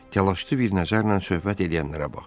Təlaşlı bir nəzərlə söhbət eləyənlərə baxdı.